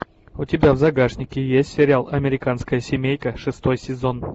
у тебя в загашнике есть сериал американская семейка шестой сезон